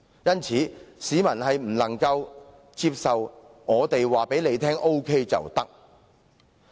因此，市民不能接受"我們告訴你 OK 便沒有問題"的說法。